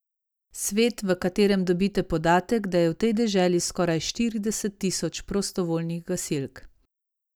Svet, v katerem dobite podatek, da je v tej deželi skoraj štirideset tisoč prostovoljnih gasilk.